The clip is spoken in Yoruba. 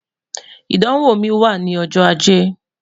idanwo mi wa ni ọjọ Aje